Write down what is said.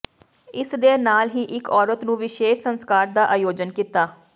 ਇਸ ਦੇ ਨਾਲ ਹੀ ਇਕ ਔਰਤ ਨੂੰ ਵਿਸ਼ੇਸ਼ ਸੰਸਕਾਰ ਦਾ ਆਯੋਜਨ ਕੀਤਾ